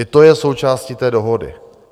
I to je součástí té dohody.